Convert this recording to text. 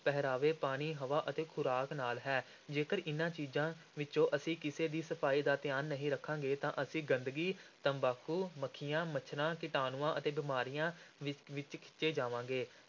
ਪਹਿਰਾਵੇ, ਪਾਣੀ, ਹਵਾ ਅਤੇ ਖ਼ੁਰਾਕ ਨਾਲ ਹੈ, ਜੇਕਰ ਇਨ੍ਹਾਂ ਚੀਜ਼ਾਂ ਵਿੱਚੋਂ ਅਸੀਂ ਕਿਸੇ ਦੀ ਸਫ਼ਾਈ ਦਾ ਧਿਆਨ ਨਹੀਂ ਰੱਖਾਂਗੇ ਤਾਂ ਅਸੀਂ ਗੰਦਗੀ, ਤੰਬਾਕੂ, ਮੱਖੀਆਂ, ਮੱਛਰਾਂ, ਕੀਟਾਣੂਆਂ ਅਤੇ ਬਿਮਾਰੀਆਂ ਵਿ ਵਿਚ ਖਿੱਚੇ ਜਾਵਾਂਗੇ।